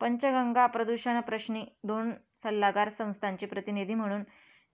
पंचगंगा प्रदूषणप्रश्नी दोन सल्लागार संस्थांची प्रतिनिधी म्हणून